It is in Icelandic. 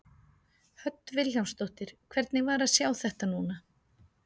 Hödd Vilhjálmsdóttir: Hvernig var að sjá þetta núna?